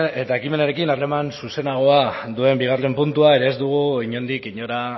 eta ekimenarekin harreman zuzenagoa duen bigarren puntua ere ez dugu inondik inora